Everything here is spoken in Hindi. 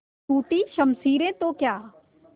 टूटी शमशीरें तो क्या